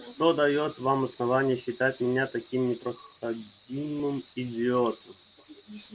что даёт вам основание считать меня таким непроходимым идиотом